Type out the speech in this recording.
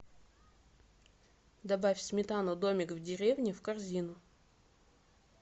добавь сметану домик в деревне в корзину